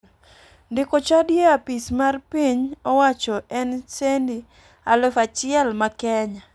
Ndiko chadi e apis mar piny owacho en sendi 1,000 ma kenya.